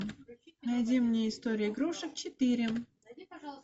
найди мне историю игрушек четыре